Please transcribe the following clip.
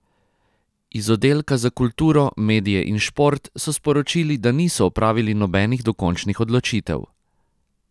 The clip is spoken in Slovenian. Iz oddelka za kulturo, medije in šport so sporočili, da niso opravili nobenih dokončnih odločitev.